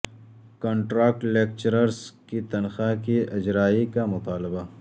contract lecturers کی تنخواہ کی اجرائی کا مطالبہ